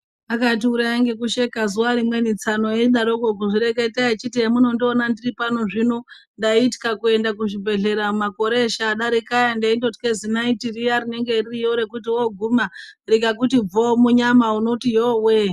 Akatiuraya ngekusheka zuva rimweni tsano eidaroko kuzvireketa echiti emunondiona ndiri pano zvino, ndaithya kuenda kuzvibhedhlera makore eshe adarika aya ndeindothye zinaiti riya rinenge ririyo rekuti wondoguma ringakuti bvoo munyama unoti yowee.